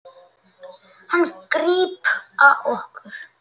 Hann grípa okkur.